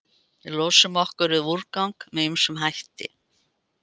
Við losum okkur við úrgang með ýmsum hætti.